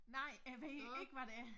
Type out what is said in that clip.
Nej jeg ved ikke hvad det er